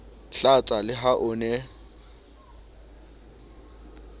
hlatsa le ha o ne